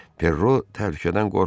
Ferro təhlükədən qorxmur.